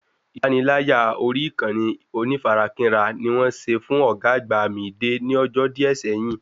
Ìpaniláyà orí ìkànnì onífarakínra ni wọ́n ṣe fún ọ̀gá àgbà Mìídé ní ọjọ́ díẹ̀ sẹ́yín